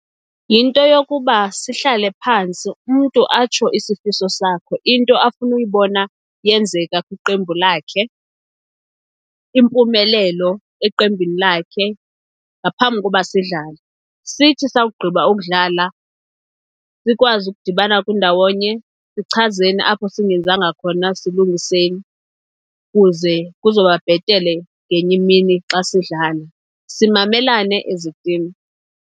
Yinto yokuba sihlale phantsi umntu atsho isifiso sakhe, into afuna uyibona yenzeka kwiqembu lakhe, impumelelo eqembini lakhe ngaphambi koba sidlale. Sithi sakugqiba ukudlala sikwazi ukudibana kwindawonye sichazeni apho singenzanga khona silungiseni, kuze kuzoba bhetele ngenye imini xa sidlala. Simamelane as itim.